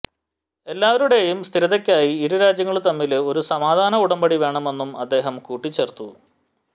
എല്ലാവരുടെയും സ്ഥിരതയ്ക്കായി ഇരു രാജ്യങ്ങള് തമ്മില് ഒരു സമാധാന ഉടമ്പടി വേണമെന്നും അദ്ദേഹം കൂട്ടിച്ചേര്ത്തു